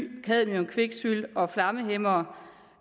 cadmium kviksølv og flammehæmmere